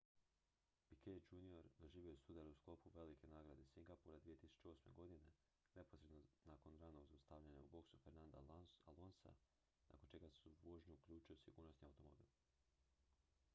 piquet jr doživio je sudar u sklopu velike nagrade singapura 2008. godine neposredno nakon ranog zaustavljanja u boksu fernanda alonsa nakon čega se u vožnju uključio sigurnosni automobil